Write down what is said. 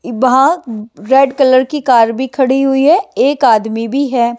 वहाँ red colour की car भी खड़ी हुई है एक आदमी भी है।